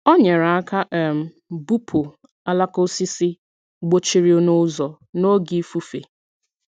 Ọ nyere aka um bupu alaka osisi gbochiri n’ụzọ n’oge ifufe.